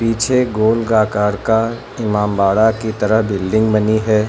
पीछे गोल का आकार का इमामबाड़ा की तरह बिल्डिंग बनी है।